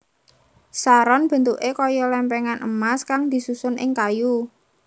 Saron bentuké kaya lèmpèngan emas kang disusun ing kayu